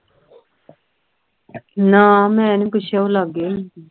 ਨਾ ਮੈਂ ਨਹੀਂ ਪੁੱਛਦਾ ਉਹ ਲਾਗੇ ਨਹੀਂ ਸੀ